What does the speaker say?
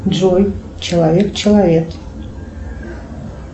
джой человек человек